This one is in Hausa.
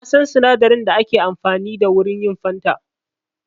Na san sinadarin da ake amfani da wurin yin fanta.